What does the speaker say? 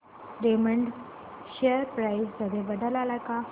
Raymond share price मध्ये बदल आलाय का